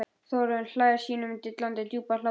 Þórunn hlær sínum dillandi djúpa hlátri.